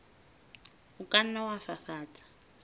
o ka nna wa fafatsa